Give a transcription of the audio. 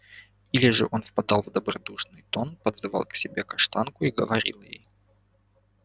или же он впадал в добродушный тон подзывал к себе каштанку и говорил ей